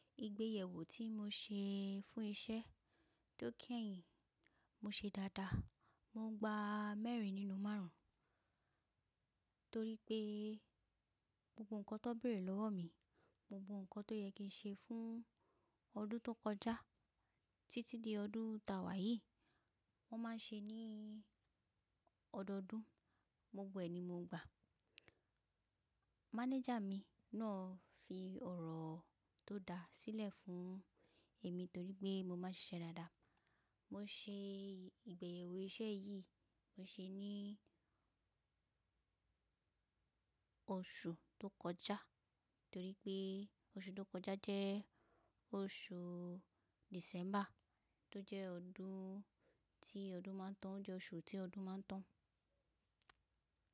Ìgbéyẹ̀wò tí mo ṣe fún iṣẹ́ tó kẹ̀yin, mo ṣe dáadáa. Mo gba mẹ́rin nínú márùn-ún torí pé gbogbo ǹkan tó bẹ̀rẹ̀ lọ́wọ́ mi, gbogbo ǹkan tó yẹ kí n ṣe fún ọdún tó kọjá títí di ọdún ta wà yìí, wọ́n máa ń ṣe ní ọdọọdún. Gbogbo ẹ̀ ni mo gba. Mánájà mi náà fi ọ̀rọ̀ tó da sílẹ̀ fún èmi torí pé mo máa ń ṣiṣẹ́ dáadáa. Mo ṣe ìgbéyẹ̀wò iṣẹ́ yìí, mo ṣe ní oṣù tó kọjá torí pé oṣù tó kọjá jẹ́ oṣù December tó jẹ́ ọdún tí ọdún máa ń tán. Ó jẹ́ oṣù tí ọdún máa ń tán.